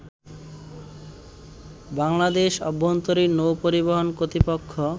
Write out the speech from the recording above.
বাংলাদেশ অভ্যন্তরীণ নৌ পরিবহন কর্তৃপক্ষ